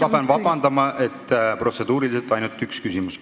Aga ma pean vabandama, protseduuri järgi saab esitada ainult ühe küsimuse.